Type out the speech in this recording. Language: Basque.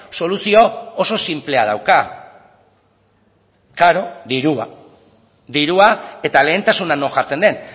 soluzio oso sinplea dauka claro dirua dirua eta lehentasuna non jartzen den